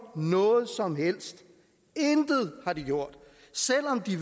noget som helst intet har de gjort selv om de